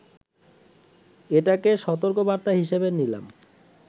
এটাকে সতর্কবার্তা হিসেবে নিলাম